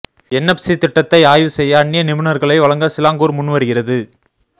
NFC திட்டத்தை ஆய்வு செய்ய அந்நிய நிபுணர்களை வழங்க சிலாங்கூர் முன்வருகிறது